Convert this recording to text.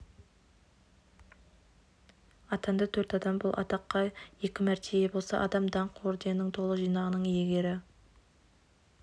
атанды төрт адам бұл атаққа екі мәрте ие болса адам даңқ орденінің толық жинағының иегері